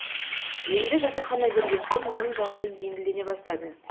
енді жатақхана берген соң менің жағдайым жеңілдене бастады